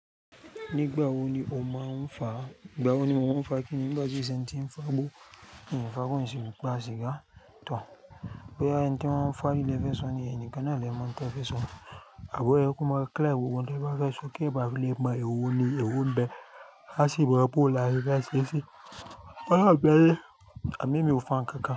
Nígbà wo ni o máa ń fà? Ìgbà wo ni mo máa ń fà kíni? Nígbà tí n ṣe tí ń fà gbó, mí ò fà gbo n sì fasìgá too. Bóyá ẹni tí wọ́n ń fàri le fẹ́ so ni, ẹyin ni kan náà lẹ́mọ́ n tẹ́ fẹ́ so. Àbọ́ yẹ ko ma clear gbogbo n te ba fẹ́ so, kí ẹ bá fi lè mọ èwo ni èwo ń bẹ a sì mọ bọ̀ lá ṣe fẹ́ ṣe sí. Wọ́n ọ́ ọ̀ gbẹ yé ẹ̀mí mi ò fà nǹkan kan.